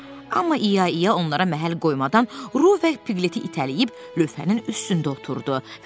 Amma İya İya onlara məhəl qoymadan, Ruh və Pleti itələyib lövhənin üstündə oturdu